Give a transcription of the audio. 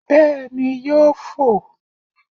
Béèni yóò fò